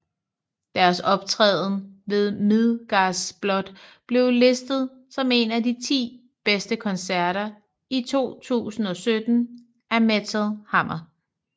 Deres optræden ved Midgardsblot blev listet som en af de ti bedste koncerter i 2017 af Metal Hammer